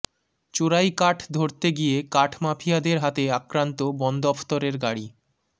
চোরাই কাঠ ধরতে গিয়ে কাঠ মাফিয়াদের হাতে আক্রান্ত বন দফতরের গাড়ি